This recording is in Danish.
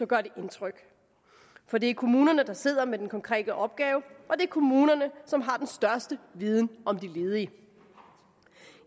gør det indtryk for det er kommunerne der sidder med den konkrete opgave og det er kommunerne som har den største viden om de ledige